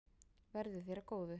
Verði þér að góðu.